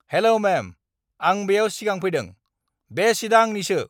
हेल' ma'am! आं बेयाव सिगां फैदों। बे सीटआ आंनिसो!